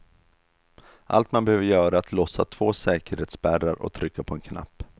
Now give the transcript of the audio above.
Allt man behöver göra är att lossa två säkerhetsspärrar och trycka på en knapp.